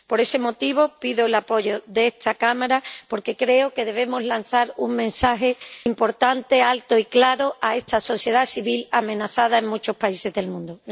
Por ese motivo, pido el apoyo de esta Cámara, porque creo que debemos lanzar un mensaje importante, alto y claro, a esta sociedad civil amenazada en muchos países del mundo.